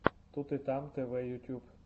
тут и там тв ютьюб